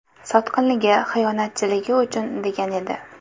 Sotqinligi, xiyonatchiligi uchun”, degan edi.